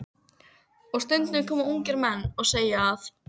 Og stundum koma ungir menn og segja að